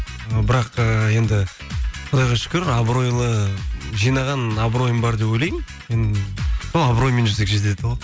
ы бірақ ыыы енді құдайға шүкір абыройлы жинаған абыройым бар деп ойлаймын мен сол абыроймен жүрсек жетеді ғой